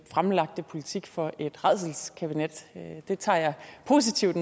fremlagte politik for et rædselskabinet det tager jeg positivt